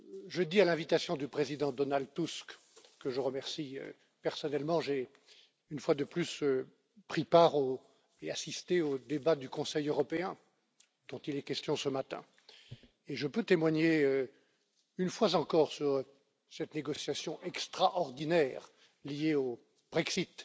Jeudi, à l'invitation du président Donald Tusk, que je remercie personnellement, j'ai une fois de plus pris part et assisté aux débats du Conseil européen, dont il est question ce matin, et je peux témoigner une fois encore sur cette négociation extraordinaire, liée au Brexit,